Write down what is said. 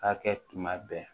Ka kɛ tuma bɛɛ